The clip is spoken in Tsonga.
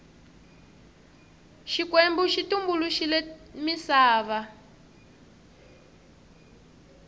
xikwembu xi tumbuluxile misava